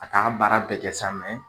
A t'an ka baara bɛɛ kɛ sa .